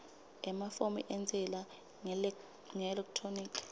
emafomu entsela ngeelekthroniki